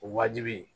O wajibi